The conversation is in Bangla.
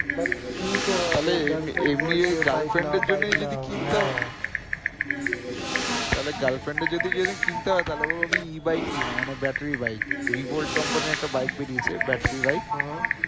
তাহলে girlfriend এর যদি যদি কিনতে হয়ে তাহলে বলবো আমি e-bike নিয়ে নাও মানে battery bike rebolt company র একটা bike বেরিয়েছে battery bike